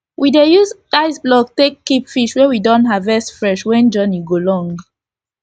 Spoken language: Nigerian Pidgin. we dey use ice block take keep fish wey we don haervest fresh when journey go long